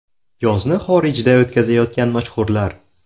Yozni xorijda o‘tkazayotgan mashhurlar .